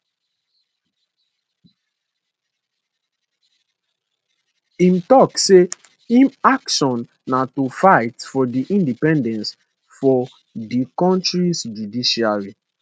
im tok say im action na to fight for di independence of di kontris judiciary